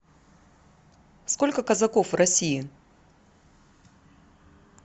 сколько казаков в россии